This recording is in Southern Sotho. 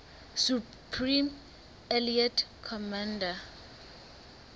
supreme allied commander